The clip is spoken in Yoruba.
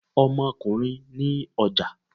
Ọmọkùnrin ni ọja.